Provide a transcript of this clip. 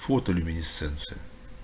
фотолюминесценция